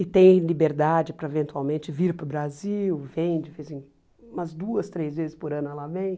E tem liberdade para eventualmente vir para o Brasil, vem de vez em, umas duas, três vezes por ano ela vem.